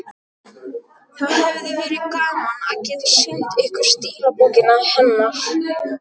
Það hefði verið gaman að geta sýnt ykkur stílabókina hennar.